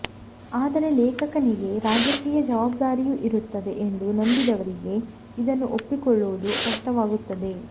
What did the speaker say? ಆದರೆ ಲೇಖಕನಿಗೆ ರಾಜಕೀಯ ಜವಾಬ್ದಾರಿಯೂ ಇರುತ್ತದೆ ಎಂದು ನಂಬಿದವರಿಗೆ ಇದನ್ನು ಒಪ್ಪಿಕೊಳ್ಳುವುದು ಕಷ್ಟವಾಗುತ್ತದೆ